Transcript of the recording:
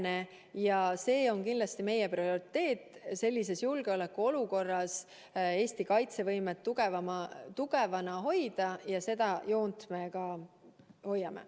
Meie prioriteet on kindlasti hoida sellises julgeolekuolukorras Eesti kaitsevõimet tugevana ja seda joont me ka hoiame.